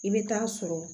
I bɛ taa sɔrɔ